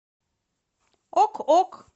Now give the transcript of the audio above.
ок ок